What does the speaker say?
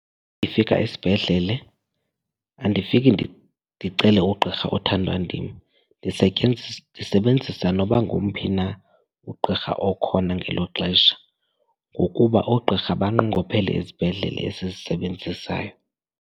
Ndifika isibhedlele, andifiki ndicele ugqirha othandwa ndim ndisebenzisa noba ngomphi na ugqirha okhona ngelo xesha ngokuba oogqirha banqongophele izibhedlele esizisebenzisayo.